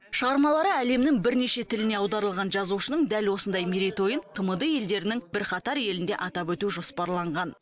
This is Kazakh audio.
шығармалары әлемнің бірнеше тіліне аударылған жазушының дәл осындай мерейтойын тмд елдерінің бірқатар елінде атап өту жоспарланған